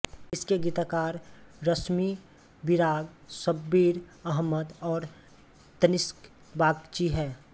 इसके गीतकार रश्मिविराग शब्बीर अहमद और तनिष्क बागची हैं